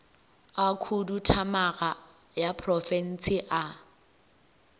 a khuduthamaga ya profense a